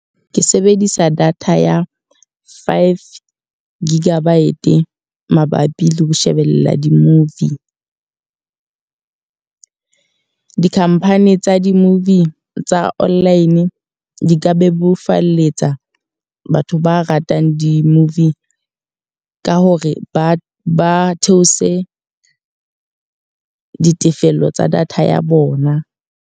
Ke sebedisa data ya five gigabyte mabapi le ho shebella di-movie. di-company tsa di-movie tsa online, di ka bebofalletsa batho ba ratang di-movie ka hore ba ba theose ditefello tsa data ya bona.